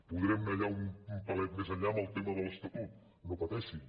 podrem anar enllà un pelet més enllà en el tema de l’estatut no pateixin